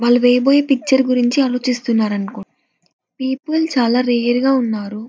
వాళ్ళు వెయ్యబోయే పిక్చర్ గురించి ఆలోచిస్తున్నరనుకో పీపుల్ చాలా రేర్ గా ఉన్నారు.